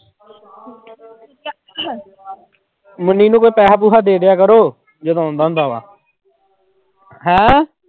ਮੁੰਨੀ ਨੂੰ ਕੋਈ ਪੈਸਾ ਪੂਸਾ ਦੇ ਦਿਆ ਕਰੋ ਜਦੋਂ ਆਉਂਦਾ ਹੁੰਦਾ ਵਾ ਹੈਂ।